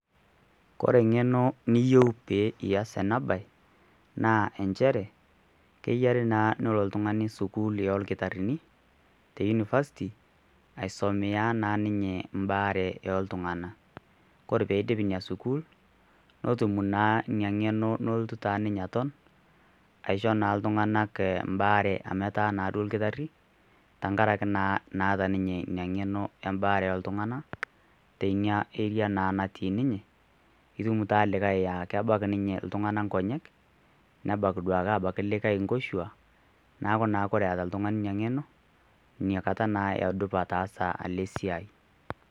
Kore ing'eno niyeu pee iyas ena baye naa kenare naa nilo ltungani sukuul olkitarini te university aisomea naa ninye imbare ooltungana, kore peidim ina sukuul netum naa ina ng'eno neotu taa ninye aton, aisho ltunagank baare amu etaa naado lkitari tengaraki naa naata ninye ina ing'eno e baare oltungana tenia area naa natii ninye ,itum taata likae aa kebak ninye ltungana nkonyek, nebak duake aitoski likae nkoshuaa ,naaku naa kore eata ltungani ina ing'eno inakata naa edupa ataaasa ale siaai.